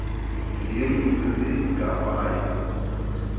ndim zizi ngabaya